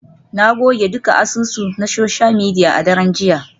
Na goge dukkan asusu na social media a daren jiya.